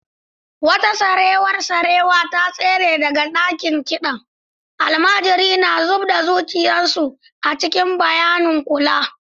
Wata sarewar sarewa ta tsere daga ɗakin kiɗan, almajiri na zub da zuciyar su a cikin bayanin kula.